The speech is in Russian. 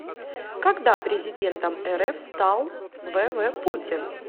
когда президентом рф стал в в путин